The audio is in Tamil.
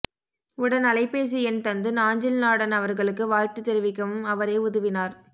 உடன் அலைபேசி எண் தந்து நாஞ்சில்நாடன் அவர்களுக்கு வாழ்த்துத் தெரிவிக்கவும் அவரே உதவினார்